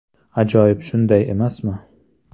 Ajoyib, shunday emasmi?